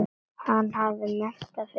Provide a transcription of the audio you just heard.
Hann hafði metnað fyrir því.